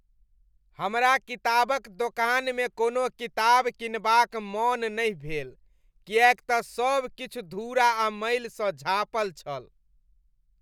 हमरा किताबक दोकानमे कोनो किताब किनबाक मन नहि भेल किएक तऽ सब किछु धूरा आ मैलसँ झाँपल छल।